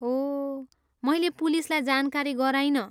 ओह, मैले पुलिसलाई जानकारी गराइनँ।